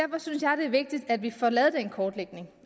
er vigtigt at vi får lavet den kortlægning